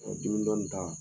dimidɔn ni ta